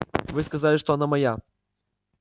вы сказали что она моя